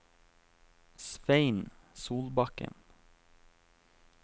Svein Solbakken